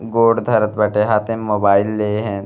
गोड धरत बाटे। हाथे में मोबाइल लिहन।